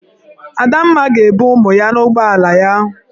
Adamma ga-ebu ụmụ ya n'ụgbọala ya.